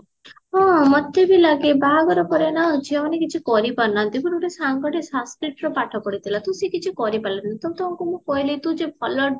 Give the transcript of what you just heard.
ହଁ ମତେବି ଲାଗେ ବାହାଘର ପରେ ନା ଝିଅ ମାନେ କିଛି କରିପରୁନାହାନ୍ତି ମୋର ଗୋଟେ ସାଙ୍ଗ ସଙ୍ଗଟେ Sanskritରେ ପାଠ ପଢିଥିଲା ତ ସିଏ କିଛି କରିପାରିଲାନି ତ ତାକୁ ମୁଁ କହିଲି ତୁ ଯେ ଭଲ